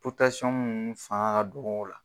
munnu fanga ka dɔgɔ o la.